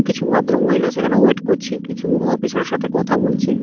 কিছু ভদ্রমহিলা সেখানে ওয়েট করছে কিছু অফিসার -এর সাথে কথা বলছে এব--